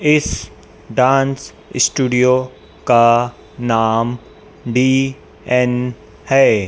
इस dance studio का नाम डी_एन है।